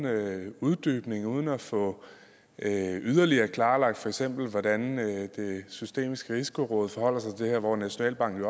er uden uddybning og uden at få yderligere klarlagt for eksempel hvordan det systemiske risikoråd hvor nationalbanken